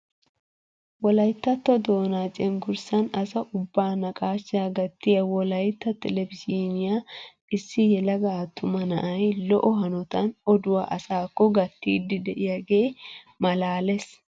Wolayttatto doonaa cengurssaan asa ubbaa naqashshaa gattiyaa wolayttab telebizhinyaan issi yelaga attuma na'ay lo"o hanotan oduwaa asaakko gattiidi de'iyaage malaales!